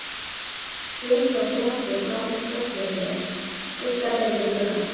Skin frá sjónvarpi blandast loftljósinu, skugga ber við gluggann.